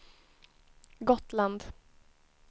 Gotland